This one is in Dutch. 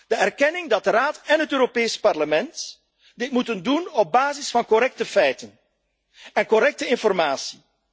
De erkenning dat de Raad en het Europees Parlement dit moeten doen op basis van correcte feiten en correcte informatie.